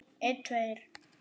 Elsku Reynir minn.